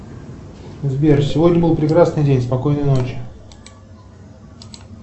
сбер сегодня был прекрасный день спокойной ночи